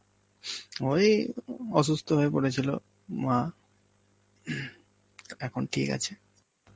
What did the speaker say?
ওই অসুস্থ হয়ে পড়েছিল মা, এখন ঠিক আছে.